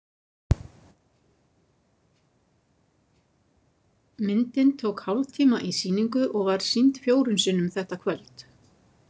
Myndin tók hálftíma í sýningu og var sýnd fjórum sinnum þetta kvöld.